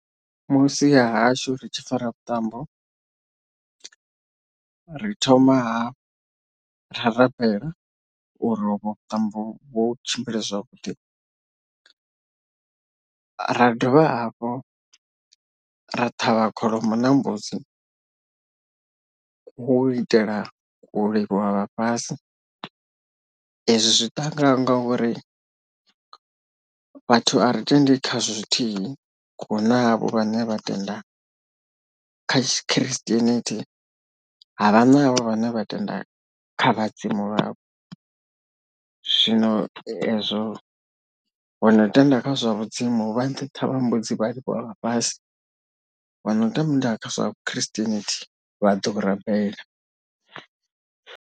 Musi hahashu ri tshi fara vhuṱambo, ri thoma ha ra rabela uri ovho vhuṱambo vho tshimbile zwavhuḓi, ra dovha hafhu ra ṱhavha kholomo na mbudzi kho itela u livhuwa vhafhasi ezwi zwiṱangani ngauri vhathu a ri tendi khazwo zwithihi hunavho vhane vha tenda kha tshikristienithi havha navho vhane vha tenda kha vhadzimu vhavho zwino ezwo vho no tenda kha zwa vhudzimu vha ṱhavha mbudzi vha livhuwa vhafhasi vha no tenda kha zwa vhukhiristienithi vhaḓo rabela.